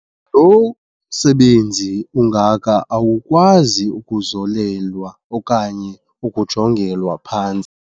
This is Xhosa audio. Lo msebenzi ungaka awukwazi ukuzolelwa okanye ukujongelwa phantsi.